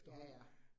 Ja ja